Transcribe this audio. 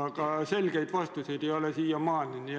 aga selgeid vastuseid ei ole siiamaani.